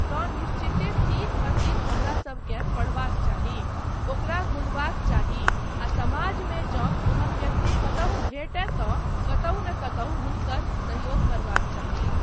तँ निश्चिते तीत अतीत हमरासभकेँ पढ़बाक चाही, ओकरा गुणबाक चाही आ समाजमे जँ ओहन व्यक्ति कतहुँ भेटय तँ कतहुँ नहि कतहुँ हुनकर सहयोग करबाक चाही।